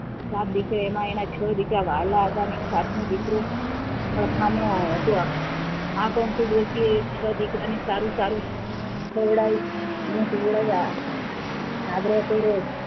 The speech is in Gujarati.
સાત દીકરા એમાં એના છો દીકરા વહાલાં હતાં અને એક સાતમો દીકરો હરખામણો હતો. આ કંકુ ડોશી એ છો દીકરાને સારું -સારું ખવડાવિયા અને પીવડાયા આગ્રહ કરે,